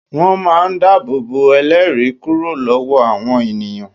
Wón máa ń dábòbò ẹlẹ́ẹ̀rí kúrò lọ́wọ́ àwọn ènìyàn